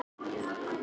Sigurdís